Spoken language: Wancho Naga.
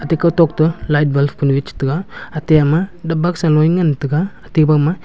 te kutok to light bulb kunu e chetega ate ama boxa now ngan tega ate agama --